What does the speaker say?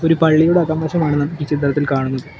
ഒരു പള്ളിയുടെ അകം വശമാണ് നമുക്കീ ചിത്രത്തിൽ കാണുന്നത്.